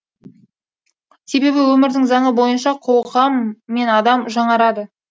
себебі өмірдің заңы бойынша қоғам мен адам жаңарады